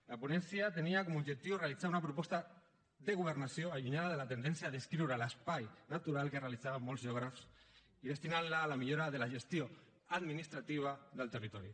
la ponència tenia com a objectiu realitzar una proposta de governació allunyada de la tendència a descriure l’espai natural que realitzaven molts geògrafs i destinant la a la millora de la gestió administrativa del territori